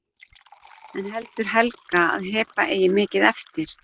En heldur Helga að Heba eigi mikið eftir?